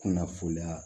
Kunnafoniya